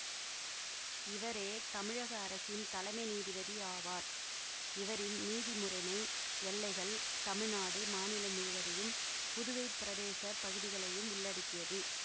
இவரே தமிழக அரசின் தலைமை நீதிபதி ஆவார் இவரின் நீதி முறைமை எல்லைகள் தமிழ்நாடு மாநிலம் முழுவதையும் புதுவைப் பிரதேச பகுதிகளையும் உள்ளடக்கியது